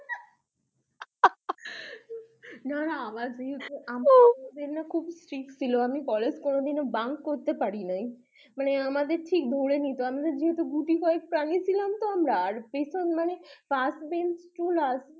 না না আমার college খুব strict ছিল মানে আমি কখনো কলেজ bunk করতে পারি নাই first bench to last bench